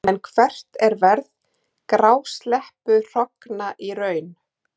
En hvert er verð grásleppuhrogna í raun?